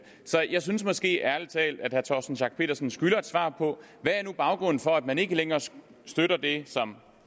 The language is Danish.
så jeg synes måske ærlig talt at herre torsten schack pedersen skylder et svar på hvad baggrunden for at man ikke længere støtter det som